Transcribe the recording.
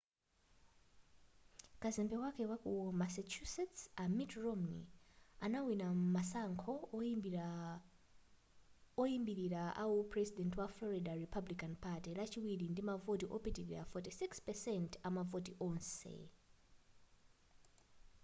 kazembe wakale waku massachusetts a mitt romney anawina masankho oyambilira awu puresident wa florida republican party lachiwiri ndi mavoti opitilira 46 % amavoti onse